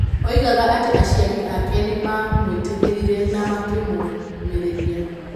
Oigaga atĩ aciari ake nĩ maamwĩtĩkĩrire na makĩmũũmĩrĩria.